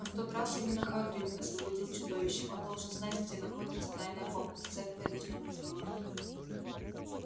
но в тот раз именно хагрид освободил чудовище он должен знать где находится тайная комната с этого и начнём разговор